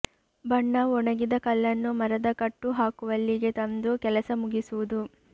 ಬಣ್ಣ ಒಣಗಿದ ಕಲ್ಲನ್ನು ಮರದ ಕಟ್ಟು ಹಾಕುವಲ್ಲಿಗೆ ತಂದು ಕೆಲಸ ಮುಗಿಸುವುದು